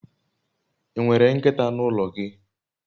I nwere nkita n'ulo gi?